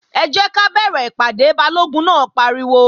Ẹ jẹ́ ká bẹ̀rẹ̀ ìpàdé! Balógun náà pariwo